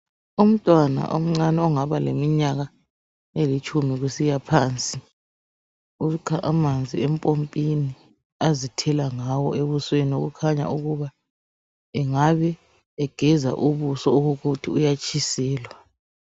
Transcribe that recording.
Umntwana omncane ongaba leminyaka elitshumi, kusiyaphansi. Ukha amanzi empompini. Azithela ngawo ebusweni. Kukhanya ukuba, angabe egeza ubuso, okokuthi uyatshiselwa.